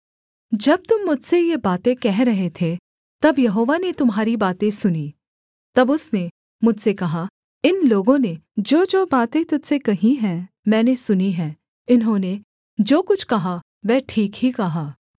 जब तुम मुझसे ये बातें कह रहे थे तब यहोवा ने तुम्हारी बातें सुनीं तब उसने मुझसे कहा इन लोगों ने जोजो बातें तुझ से कही हैं मैंने सुनी हैं इन्होंने जो कुछ कहा वह ठीक ही कहा